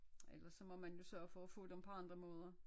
Ellers så må man jo sørge for at få dem på andre måder